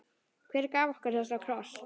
Hver gaf okkur þessa krossa?